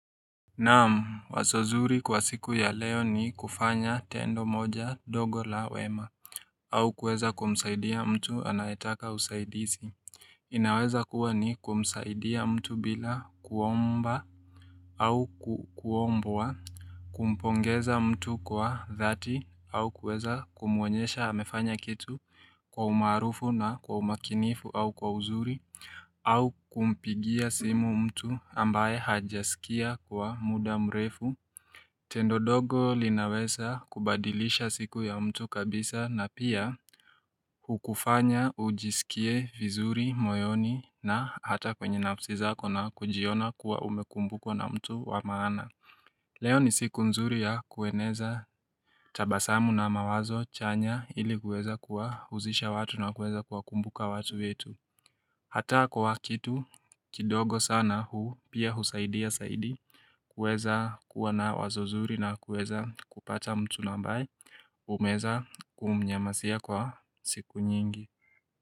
Naam, wazo zuri kwa siku ya leo ni kufanya tendo moja dogo la wema au kuweza kumsaidia mtu anayetaka usaidizi inaweza kuwa ni kumsaidia mtu bila kuomba au kuombwa Kumpongeza mtu kwa dhati au kueza kumuonyesha amefanya kitu kwa umaarufu na kwa umakinifu au kwa uzuri au kumpigia simu mtu ambaye hajasikia kwa muda mrefu Tendo nogo linaweza kubadilisha siku ya mtu kabisa na pia Ukufanya ujisikie vizuri, moyoni na hata kwenye nafsi zako na kujiona kuwa umekumbukwa na mtu wa maana Leo ni siku nzuri ya kueneza tabasamu na mawazo chanya ili kuweza kuwa uzisha watu na kuweza kuwa kumbuka watu yetu Ata kuwa kitu kidogo sana huu pia husaidia zaidi kuweza kuwa na wazo zuri na kuweza kupata mtu na ambaye umezaa kumnyasia kwa siku nyingi.